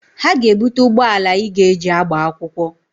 Ha ga-ebute ụgbọala Ị ga-eji agba akwụkwọ.